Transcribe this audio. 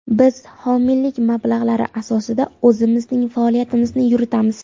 Biz homiylik mablag‘lari asosida o‘zimizning faoliyatimizni yuritamiz.